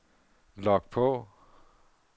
log på